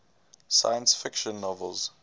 science fiction novels